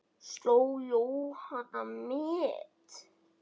Sló Jóhanna met?